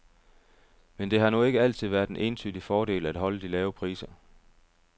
Men det har nu ikke altid været en entydig fordel at holde de lave priser.